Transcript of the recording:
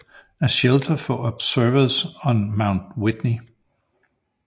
A Shelter for Observers on Mount Whitney